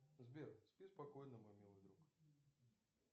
сбер спи спокойно мой милый друг